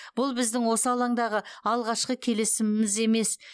бұл біздің осы алаңдағы алғашқы келісіміміз емес